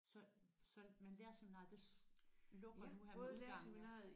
Så så men lærerseminariet det lukker nu her ved udgangen?